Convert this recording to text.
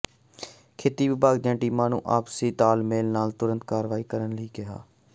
ਖੇਤੀ ਵਿਭਾਗ ਦੀਆਂ ਟੀਮਾਂ ਨੂੰ ਆਪਸੀ ਤਾਲਮੇਲ ਨਾਲ ਤੁਰੰਤ ਕਾਰਵਾਈ ਕਰਨ ਲਈ ਕਿਹਾ